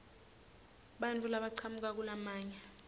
bantfu labachamuka kulamanye